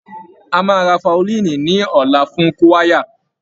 A máa rà faolíìnì ní ọ̀la fún kúwáyà